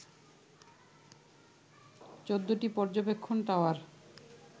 ১৪টি পর্যবেক্ষণ টাওয়ার